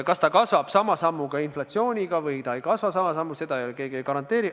Kas see kasvab sama sammuga kui inflatsioon, või ei kasva sama sammuga – seda ju keegi ei garanteeri.